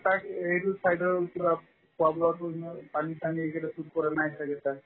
এইটো side ৰ পানী চানী suit কৰা নাই ছাগে তাই